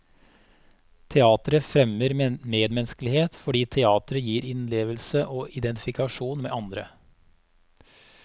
Teatret fremmer medmenneskelighet, fordi teatret gir innlevelse og identifikasjon med andre.